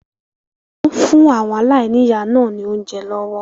Wọn ń fún àwọn aláìníya náà ni oúnjẹ lọ́wọ́